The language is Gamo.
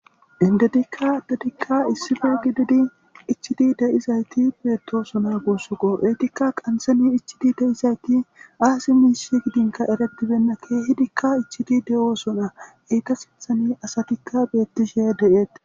Indetikka addetika issipe giididi ichchidi de'izaytti bettossona guusuko eetikka qanththen ichchidi deizayti aazi mishsheka giddin erretibeyna kehidika ichchidi de'ossona eeta sinththan assatika bettishe de'ettes.